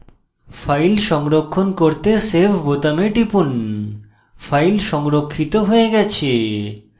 file সংরক্ষণ করতে save বোতামে টিপুন file সংরক্ষিত হয়ে গেছে